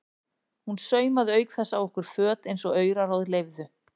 Hún saumaði auk þess á okkur föt eins og auraráð leyfðu.